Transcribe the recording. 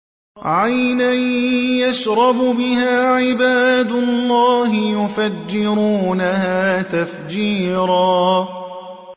عَيْنًا يَشْرَبُ بِهَا عِبَادُ اللَّهِ يُفَجِّرُونَهَا تَفْجِيرًا